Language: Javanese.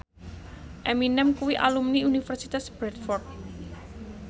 Eminem kuwi alumni Universitas Bradford